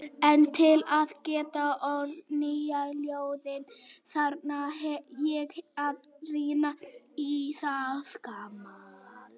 En til að geta ort nýja ljóðið þarf ég að rýna í það gamla.